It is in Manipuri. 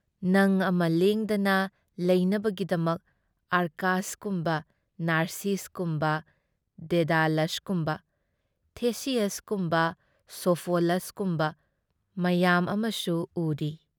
ꯅꯪ ꯑꯃ ꯂꯦꯡꯗꯅ ꯂꯩꯅꯕꯒꯤꯗꯃꯛ ꯑꯔꯀꯥꯁꯀꯨꯝꯕ ꯅꯥꯔꯁꯤꯁꯀꯨꯝꯕ ꯗꯦꯗꯥꯂꯁꯀꯨꯝꯕ ꯊꯦꯁꯤꯌꯁꯀꯨꯝꯕ ꯁꯣꯐꯣꯂꯁꯀꯨꯝꯕ ꯃꯎꯌꯥꯝ ꯑꯃꯁꯨ ꯎꯔꯤ ꯫